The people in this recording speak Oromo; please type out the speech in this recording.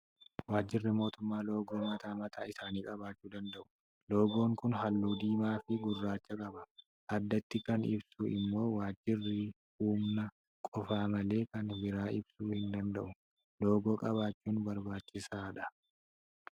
Waajjirri mootummaa loogoo mataa mataa isaanii qabaachuu danda'u. Loogoon kun halluu diimaa fi gurraacha qaba. Addatti kan ibsu immoo Waajjirrivhuma qofa malee kan biraa ibsuu hin danda'u. Loogoo qabaachuun barbaachisaadha.